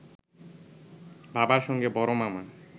বাবার সঙ্গে বড় মামা